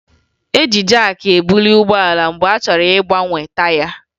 E ji jaakị ebuli ụgbọala mgbe a chọrọ ịgbanwe taya